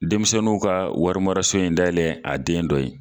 Denmisɛnninw ka wari maraso in dayɛlɛ a den dɔ ye